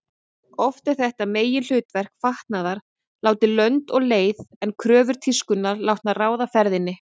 Oft er þetta meginhlutverk fatnaðar látið lönd og leið en kröfur tískunnar látnar ráða ferðinni.